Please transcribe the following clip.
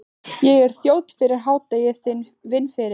Ég er þjónn fyrir hádegi, vinn fyrir